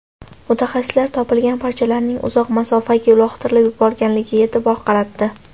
Mutaxassislar topilgan parchalarning uzoq masofaga uloqtirib yuborilganiga e’tibor qaratdi.